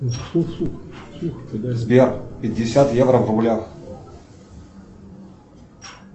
сбер пятьдесят евро в рублях